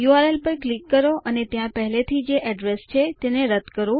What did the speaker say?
URL પર click કરો અને ત્યાં પહેલાથી જે એડ્રેસ છે તેને રદ કરો